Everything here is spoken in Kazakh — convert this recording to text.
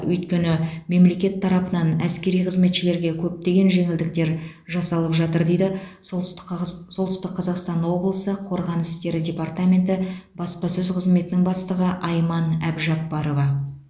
өйткені мемлекет тарапынан әскери қызметшілерге көптеген жеңілдіктер жасалып жатыр дейді солтүстік кагаз солтүстік қазақстан облысы қорғаныс істері департаменті баспасөз қызметінің бастығы айман әбжапбарова